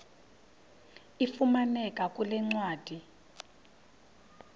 ifumaneka kule ncwadi